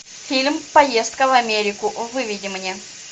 фильм поездка в америку выведи мне